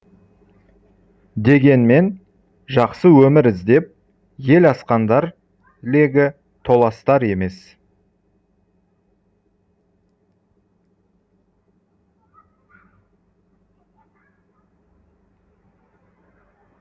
дегенмен жақсы өмір іздеп ел асқандар легі толастар емес